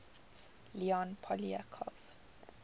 leon poliakov